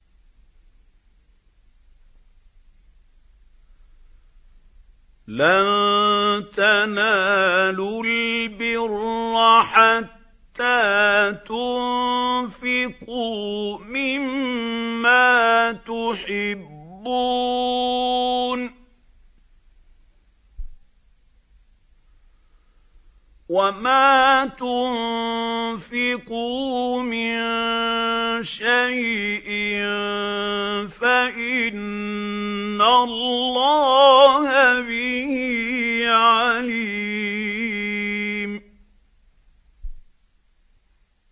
لَن تَنَالُوا الْبِرَّ حَتَّىٰ تُنفِقُوا مِمَّا تُحِبُّونَ ۚ وَمَا تُنفِقُوا مِن شَيْءٍ فَإِنَّ اللَّهَ بِهِ عَلِيمٌ